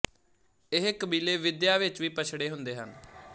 ਇਹ ਕਬੀਲੇ ਵਿਦਿਆ ਵਿੱਚ ਵੀ ਪਛੜੇ ਹੁੰਦੇ ਹਨ